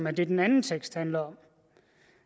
er det den anden tekst handler om